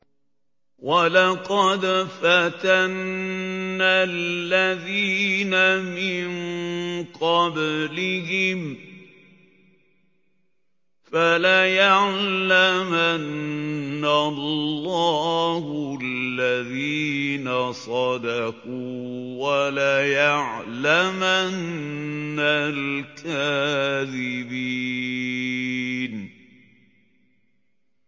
وَلَقَدْ فَتَنَّا الَّذِينَ مِن قَبْلِهِمْ ۖ فَلَيَعْلَمَنَّ اللَّهُ الَّذِينَ صَدَقُوا وَلَيَعْلَمَنَّ الْكَاذِبِينَ